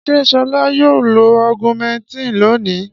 Ṣé Ṣọlá yóò lo Augumentin lónìí?